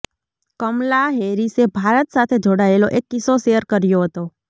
કમલા હેરિસે ભારત સાથે જોડાયેલો એક કિસ્સો શેર કર્યો હતો